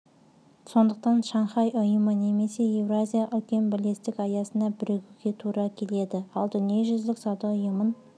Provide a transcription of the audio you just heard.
сондықтан шанхай ұйымы немесе еуразиялық үлкен бірлестік аясына бірігуге тура келеді ал дүниежүзілік сауда ұйымын